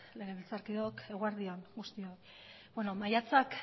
legebiltzarkideok eguerdi on guztioi beno maiatzak